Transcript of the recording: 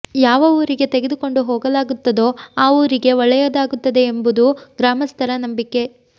ಯಾವ ಊರಿಗೆ ತೆಗೆದುಕೊಂಡು ಹೋಗಲಾಗುತ್ತದೋ ಆ ಊರಿಗೆ ಒಳ್ಳೆಯದಾಗುತ್ತದೆ ಎಂಬುದು ಗ್ರಾಮಸ್ಥರ ನಂಬಿಕೆ